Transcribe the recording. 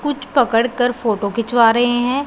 कुछ पकड़ कर फोटो खिंचवा रहे हैं।